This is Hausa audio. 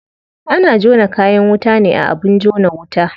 Ana jona kayan wuta ne a abin jona wuta.